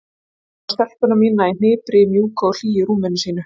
Ég horfi á stelpuna mína í hnipri í mjúku og hlýju rúminu sínu.